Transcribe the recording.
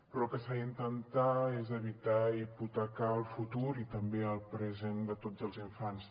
però el que s’ha d’intentar és evitar hipotecar el futur i també el present de tots els infants